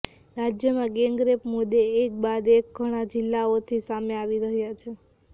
રાજ્યમાં ગેંગરેપ મુદ્દે એક બાદ એક ઘણા જિલ્લાઓથી સામે આવી રહ્યા છે